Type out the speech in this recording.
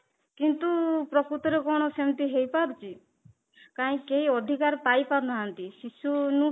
କିନ୍ତୁ ପ୍ରକୁତରେ ରେ କଣ ସେମିତି ହେଇପାରୁଛି କାହିଁକି ଅଧିକାର ପାଇପାରୁନାହାନ୍ତି ଶିଶୁ